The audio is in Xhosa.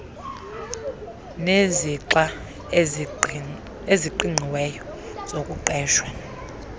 nezixa eziqingqiweyo zokuqeshwa